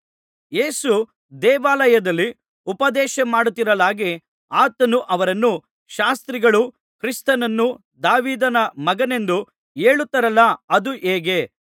ಯೇಸು ದೇವಾಲಯದಲ್ಲಿ ಉಪದೇಶಮಾಡುತ್ತಿರಲಾಗಿ ಆತನು ಅವರನ್ನು ಶಾಸ್ತ್ರಿಗಳು ಕ್ರಿಸ್ತನನ್ನು ದಾವೀದನ ಮಗನೆಂದು ಹೇಳುತ್ತಾರಲ್ಲಾ ಅದು ಹೇಗೆ